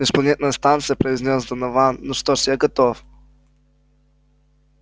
межпланетная станция произнёс донован ну что ж я готов